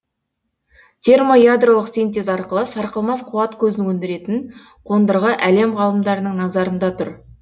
термоядролық синтез арқылы сарқылмас қуат көзін өндіретін қондырғы әлем ғалымдарының назарында тұр